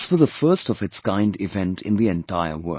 This was a first of its kind event in the entire world